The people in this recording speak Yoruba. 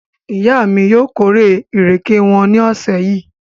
Ìyá mi yóò kórè ìrèké wọn ní ọ̀sẹ̀ yìí.